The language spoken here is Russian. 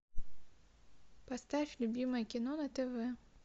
поставь любимое кино на тв